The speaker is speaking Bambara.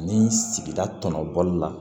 Ani sigida tɔnɔ bɔli la